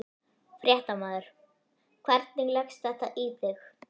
Fréttamaður: Hvernig leggst þetta í þig?